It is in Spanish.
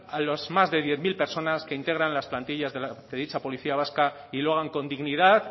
a los más de diez mil personas que integran las plantillas de dicha policía vasca y lo hagan con dignidad